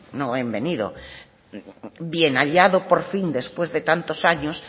no bienvenido bien hallado por fin después de tantos años